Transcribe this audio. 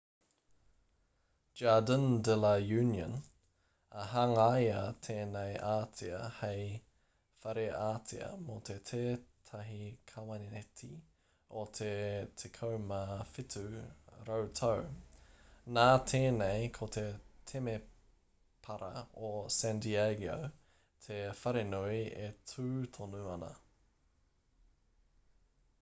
jardīn de la uniōn i hangaia tēnei ātea hei whare ātea mō tētahi kaweneti o te 17 rautau nā tēnei ko te temepara o san diego te wharenui e tū tonu ana